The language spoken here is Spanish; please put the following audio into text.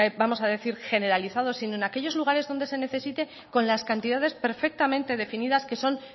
vamos a decir generalizado sino en aquellos lugares en los que se necesite con las cantidades perfectamente definidas que son